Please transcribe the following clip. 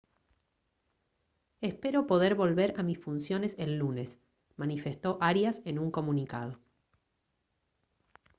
«espero poder volver a mis funciones el lunes» manifestó arias en un comunicado